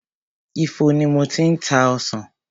Ifo ni mo ti ń ta ọsàn.